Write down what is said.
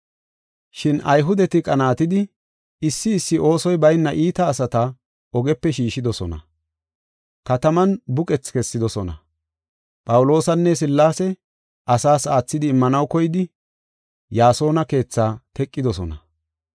Shin Ayhudeti qanaatidi issi issi oosoy bayna iita asata ogepe shiishidosona. Kataman buqethi kessidosona; Phawuloosanne Sillaase asaas aathidi immanaw koydi Yaasona keethaa teqidosona.